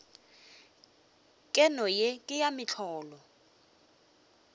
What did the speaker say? keno ye ke ya mohlolo